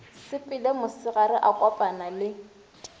sepele mosegare a kopane le